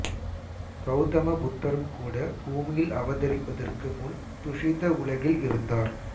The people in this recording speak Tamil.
கௌதம புத்தரும் கூட பூமியில் அவதரிப்பதற்கு முன் துஷித உலகில் இருந்தார்